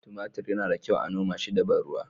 Tumatir yana da kyau a noma shi da ban ruwa